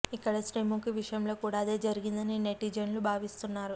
ఇక్కడ శ్రీముఖి విషయం లో కూడా అదే జరిగిందని నెటిజన్లు భావిస్తున్నారు